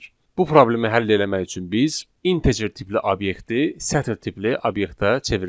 Bu problemi həll eləmək üçün biz integer tipli obyekti sətr tipli obyektə çevirməliyik.